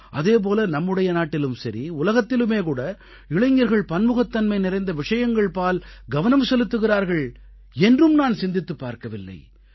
அதே போல நம்முடைய நாட்டிலும் சரி உலகத்திலுமே கூட இளைஞர்கள் பன்முகத்தன்மை நிறைந்த விஷயங்கள்பால் கவனம் செலுத்துகிறார்கள் என்றும் நான் சிந்தித்துப் பார்க்கவில்லை